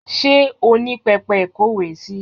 Ṣé o ní pẹpẹ ìkówèésí?